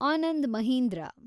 Anand Mahindra